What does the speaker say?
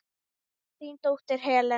Þín dóttir, Helena.